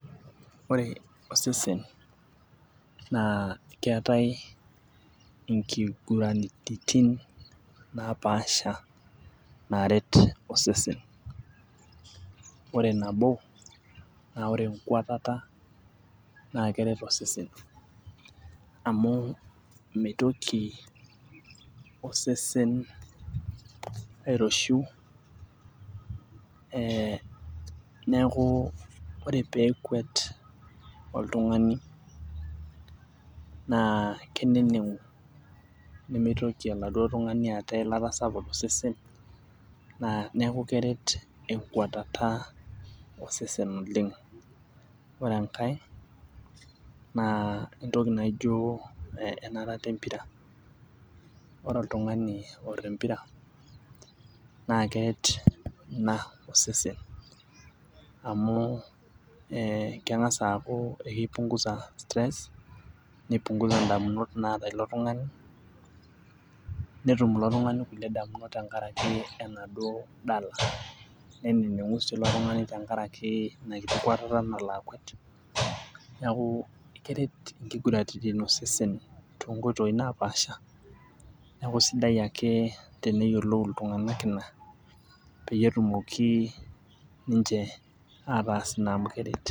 ore osesen naa keetae inkiguraritin naapasha naret osesen. ore nabo naa ore enkuatata naa keret osesen. naa amu, mitoki osesen, airoshiu, ee neeku ore peekuet oltungani naa keneneng'u nemeitoki oladuo tungani aata eilata tosesen. naa neeku keret enkuatata osesen oleng. ore enkae naa entoki naijo enarata empira. ore oltungani, oor empira naa keret ina osesen. amu ee keng'as aaku kipungusa stress nipunguza damunot, naata ilo tungani. netum ilo tungani kulie damunot tenkaraki enaduoo dala. neneng'u sii ilo tung'ani tenakraki inakiti kuatata nakwet. neeku keret inkuguraritin osesen. too too nkoitoi naapasha. neeku sidai ake tenyiolou iltungank ina. neeku kisidai tenees ina amu keret.